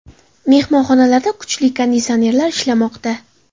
Mehmonxonalarda kuchli konditsionerlar ishlamoqda.